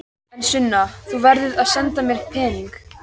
En Sunna, þú verður að senda mér peninga.